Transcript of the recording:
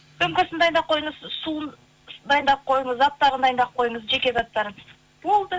сөмкесін дайындап қойыңыз суын дайындап қойыңыз заттарын дайынап қойыңыз жеке заттарын болды